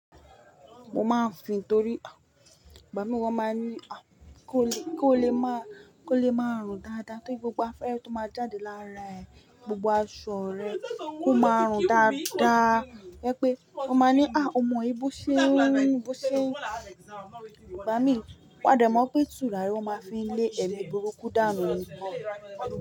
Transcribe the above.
Mo máa ń fìn torí àwọn bàbá mí wọ́n máa ń ní ah kó o lè, kó o lè máa, kó o lè máa rùn dáadáa tóí gbogbo afẹ́re tó máa jáde lára ẹ, gbogbo aṣọ rẹ kó máa rùn dáadáa. Ẹ pé wọn máa ń ní, ah ọmọ yìí bó ṣeun run, bó ṣeun. Igba mi wá dè mọ̀ pé tùràri wọ́n máa fi ń lé ẹ̀mí burúkú dànù nígbà.